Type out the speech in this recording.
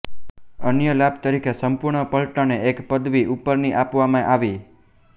અન્ય લાભ તરીકે સંપૂર્ણ પલટણને એક પદવી ઉપરની આપવામાં આવી